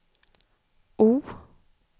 O